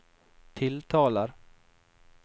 tiltaler